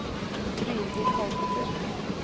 Brynhild Holter